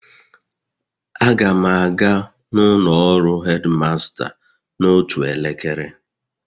Aga m aga n'ụlọ ọrụ headmaster n'otu elekere